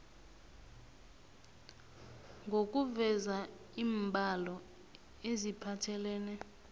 nokuveza iimbalo eziphathelene